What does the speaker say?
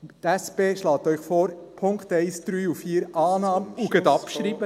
Die SP schlägt Ihnen vor, die Punkte 1, 3 und 4: Annahme und gleich abschreiben.